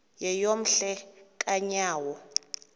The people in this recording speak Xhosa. yeyom hle kanyawo